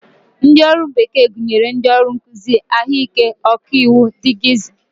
Ndị ọrụ bekee gụnyere ndị ọrụ nkụzi, ahụike, ọkaiwu dgz